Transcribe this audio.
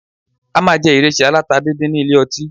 A máa jẹ ìrẹsì aláta díndín nílé ọtí